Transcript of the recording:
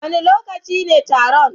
Wane lokaci ne taron?